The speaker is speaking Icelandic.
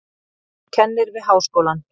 Kennir við háskólann.